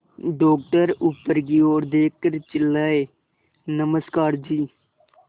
doctor ऊपर की ओर देखकर चिल्लाए नमस्कार जी